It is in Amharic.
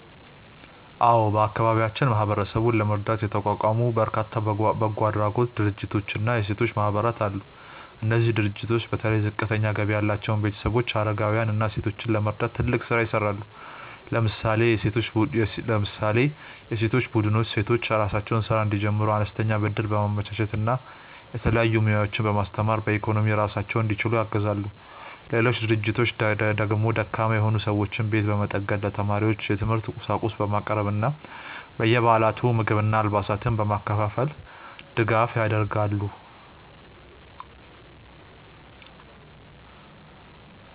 አዎ፣ በአካባቢያችን ማህበረሰቡን ለመርዳት የተቋቋሙ በርካታ በጎ አድራጎት ድርጅቶችና የሴቶች ማህበራት አሉ። እነዚህ ድርጅቶች በተለይ ዝቅተኛ ገቢ ያላቸውን ቤተሰቦች፣ አረጋውያንን እና ሴቶችን ለመርዳት ትልቅ ስራ ይሰራሉ። ለምሳሌ የሴቶች ቡድኖች ሴቶች የራሳቸውን ስራ እንዲጀምሩ አነስተኛ ብድር በማመቻቸት እና የተለያዩ ሙያዎችን በማስተማር በኢኮኖሚ ራሳቸውን እንዲችሉ ያግዛሉ። ሌሎች ድርጅቶች ደግሞ ደካማ የሆኑ ሰዎችን ቤት በመጠገን፣ ለተማሪዎች የትምህርት ቁሳቁስ በማቅረብ እና በየበዓላቱ ምግብና አልባሳትን በማከፋፈል ድጋፍ ያደርጋሉ።